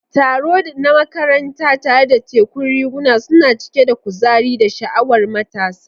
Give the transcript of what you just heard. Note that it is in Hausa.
Taro na makaranta, tare da tekun riguna, suna cike da kuzari da sha'awar matasa.